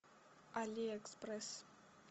алиэкспресс